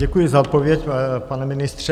Děkuji za odpověď, pane ministře.